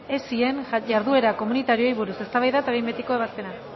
esien jarduera komunitarioei buruz eztabaida eta behin betiko ebazpena